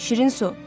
Şirin su.